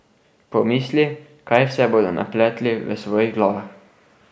Pomisli, kaj vse bodo napletli v svojih glavah.